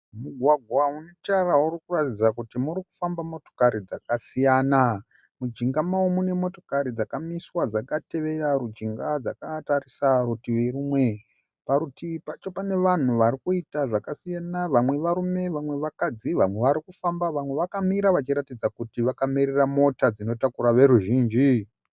Mugwagwa une tara urikuratidza kuti murikufamba motokari dzakasiyana . Mujinga mawo mune motokari dzakamiswa dzakatevera rujinga dzakatarisa rutivi rumwe. Parutivi pacho pane vanhu varikuita zvakasiyana, vamwe varume vamwe vakadzi, vamwe varikufamba vamwe vakamira vachiratidza kuti vakamirira mota dzinotakura veruzhinji.